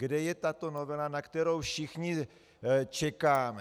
Kde je tato novela, na kterou všichni čekáme?